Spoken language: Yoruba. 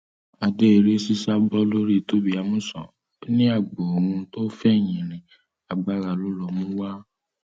adé eré sísá bọ lórí tobi amusan ó ní agbo òun tó fẹyìn rin agbára ló lọ mú wá